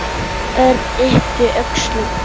Örn yppti öxlum.